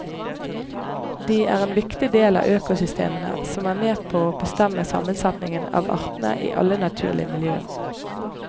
De er en viktig del av økosystemene, som er med på å bestemme sammensetningen av artene i alle naturlige miljøer.